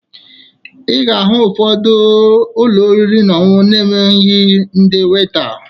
Ị ga-ahụ ụfọdụ ụlọ oriri na ọṅụṅụ na-enweghi ndị weta